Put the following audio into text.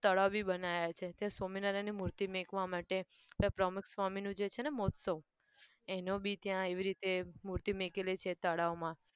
તળાવ બી બનાયા છે ત્યાં સ્વામીનારાયણની મૂર્તિ મુકવા માટે. ત્યાં પ્રમુખસ્વામીનું જે છે ને મહોત્સવ એનો બી ત્યાં એવી રીતે મૂર્તિ મુકેલી છે તળાવમાં